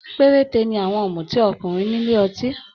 Perete ni àwọn ọmuti ọkùnrin nílé ọtí.